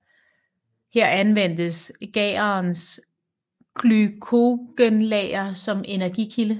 Her anvendes gærens glykogenlager som energikilde